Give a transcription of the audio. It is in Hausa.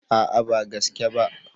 A'a ba gaske ba.